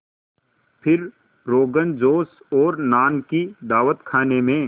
फिर रोग़नजोश और नान की दावत खाने में